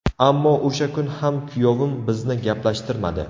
Ammo o‘sha kun ham kuyovim bizni gaplashtirmadi.